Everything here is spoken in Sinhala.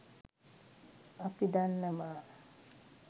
අපි දන්නවා